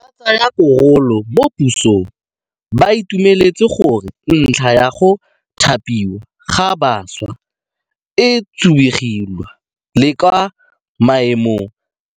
Batsayakarolo mo puisanong ba itumeletse gore ntlha ya go thapiwa ga baswa e tsibogelwa le kwa maemong